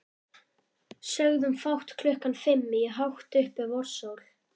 Sögðum fátt klukkan fimm í hátt uppi vorsól.